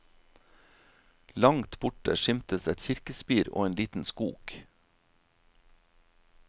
Langt borte skimtes et kirkespir og en liten skog.